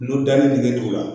N'u danni dingɛw la